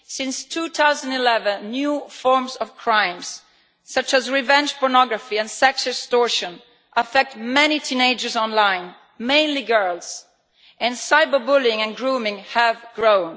Since 2011 new forms of crime such as revenge pornography and sex extortion affect many teenagers online mainly girls and cyber bullying and grooming have grown.